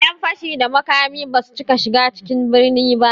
Ƴan fashi da makami basu cika shiga cikin birni ba